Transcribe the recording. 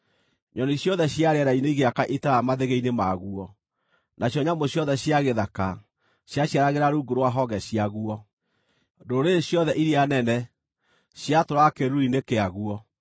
Nyoni ciothe cia rĩera-inĩ igĩaka itara mathĩgĩ-inĩ maguo, nacio nyamũ ciothe cia gĩthaka ciaciaragĩra rungu rwa honge ciaguo; ndũrĩrĩ ciothe iria nene ciatũũraga kĩĩruru-inĩ kĩaguo.